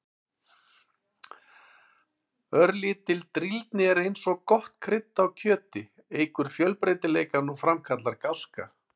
Örlítil drýldni er eins og gott krydd á kjöti, eykur fjölbreytileikann og framkallar gáska.